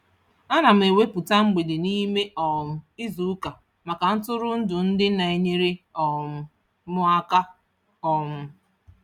Ana m ewepụta mgbede n'ime um izuụka maka ntụrụndụ ndị na-enyere um m aka. um